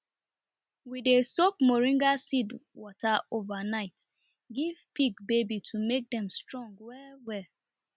we dey soak moringa seed water overnight give pig baby to make them strong well well